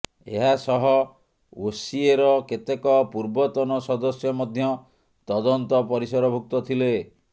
ଏହାସହ ଓସିଏର କେତେକ ପୂର୍ବତନ ସଦସ୍ୟ ମଧ୍ୟ ତଦନ୍ତ ପରିସରଭୁକ୍ତ ଥିଲେ